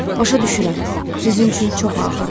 Başa düşürəm, sizin üçün çox ağırdır.